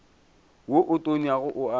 wo o tonyago o a